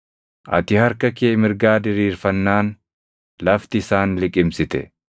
“Ati harka kee mirgaa diriirfannaan, lafti isaan liqimsite.